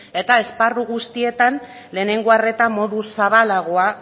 eta esparru guztietan lehenengo arreta modu zabalagoa